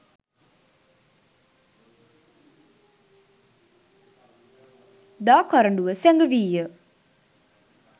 දා කරඬුව සැඟවී ය.